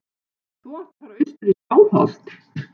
Þú átt að fara austur í Skálholt.